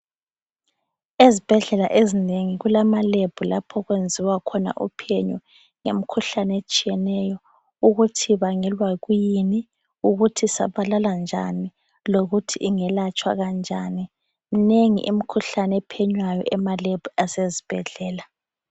Ezibhedlela ezinengi kulamalab lapho okwenziwa khona uphenyo yemikhuhlane etshiyeneyo ukuthi ibangelwa yikuyini, ukuthi isabalala njani lokuthi ingelatshwa kanjani. Minengi imikhuhlane ephenywayo emalab asezibhedlela.